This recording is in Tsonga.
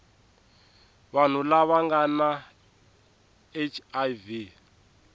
vanhu lava nga na hiv